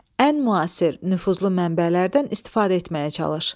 Ən müasir, nüfuzlu mənbələrdən istifadə etməyə çalış.